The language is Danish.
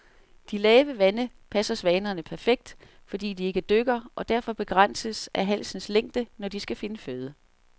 De lave vande passer svanerne perfekt, fordi de ikke dykker og derfor begrænses af halsens længde, når de skal finde føde.